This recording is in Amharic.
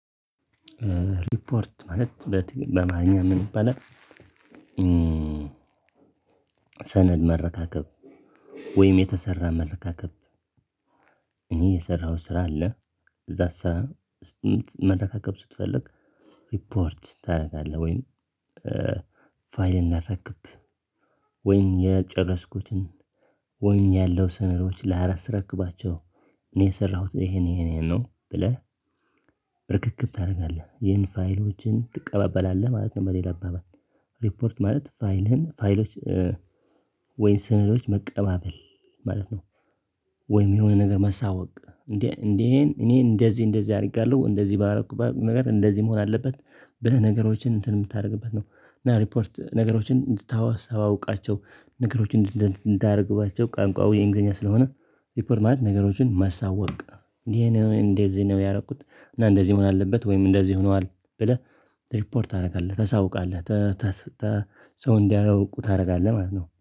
ሪፖርት ማለት በትግል በአማርኛ ምን ይባላል ሰነድ መረካከብ ወይም የተሰራ መረካከብ እኔ የሰራኸው ስራ አለ እዛ ስራ መረካከብ ስትፈልግ ሪፖርት ታደርጋለህ ወይም ፋይል ላረክብ ወይም የጨረስኩትን ወይም ያለው ስነዶች ለአስረክባቸው እኔ የሰራሁት ይሄን ይሄን ይሄን ነው ብለህ ርክክብ ታደርጋለህ ይህን ፋይሎችን ትቀበላለህ ማለት ነው በሌላ አባባል ሪፖርት ማለት ፋይልህን ፋይሎች ስነዶች መቀባበል ማለት ነው። ወይም የሆነ ነገር መሳወቅ እንዴ እንዴ እኔ እንደዚህ እንደዚህ አድርጋለሁ እንደዚህ ባረኩ ባረኩ ነገር እንደዚህ መሆን አለበት በነገሮችን እንትን የምታደርግበት ነው እና ሪፖርት ነገሮችን እንድታውስ አውቃቸው ነገሮችን እንዳደርግባቸው ቋንቋው የእንግሊዘኛ ስለሆነ ሪፖርት ማለት ነገሮችን ማሳወቅ እንዴ እንዴ እዚህ ነው ያረኩት እና እንደዚህ መሆን አለበት ወይም እንደዚህ ሆኗል ብለህ ሪፖርት ታደርጋለህ ታሳውቃለህ ሰው እንዲያውቁ ታደርጋለህ ማለት ነው።